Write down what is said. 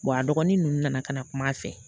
a dɔgɔnin nunnu nana ka na kum'a fɛ